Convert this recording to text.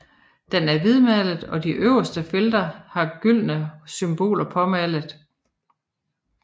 Den er hvidmalet og de øverste felter har gyldne symboler påmalet